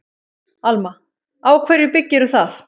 Alma: Á hverju byggirðu það?